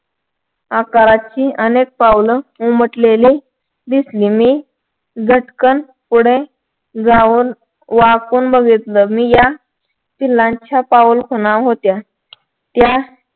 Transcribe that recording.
आकाराची अनेक पावलं उमटलेली दिसली मी झटकन पुढे जाऊन वाकून बघितलं मी या पिल्लांच्या पाऊलखुणा होत्या त्यात